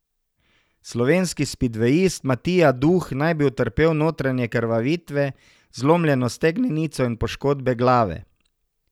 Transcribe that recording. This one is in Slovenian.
Slovenski spidvejist Matija Duh naj bi utrpel notranje krvavitve, zlomljeno stegnenico in poškodbe glave.